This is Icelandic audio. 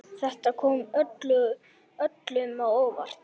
Þetta kom öllum á óvart.